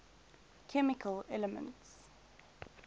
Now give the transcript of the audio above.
chemical elements